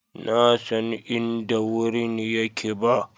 na San inda wurin yake ba.